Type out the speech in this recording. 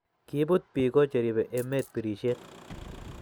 Kibut Biko cheribe emet birishet